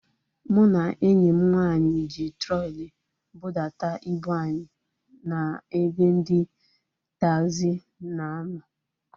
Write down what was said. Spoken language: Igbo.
Mụ na enyi m nwaanyị ji trọli budata ibu anyị na ebe ndị taagzi na a nọ